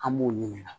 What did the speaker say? An b'u ɲininka